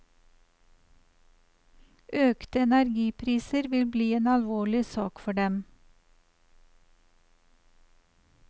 Økte energipriser vil bli en alvorlig sak for dem.